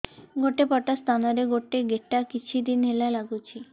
ଗୋଟେ ପଟ ସ୍ତନ ରେ ଗୋଟେ ଗେଟା କିଛି ଦିନ ହେଲା ଲାଗୁଛି